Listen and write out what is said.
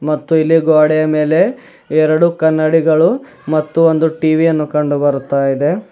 ಮತ್ತು ಇಲ್ಲಿ ಗೋಡೆಯ ಮೇಲೆ ಎರಡು ಕನ್ನಡಿಗಳು ಮತ್ತು ಒಂದು ಟಿವಿಯನ್ನು ಕಂಡು ಬರುತ್ತಾ ಇದೆ.